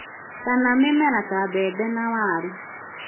kama mĩmera ta mbembe na waru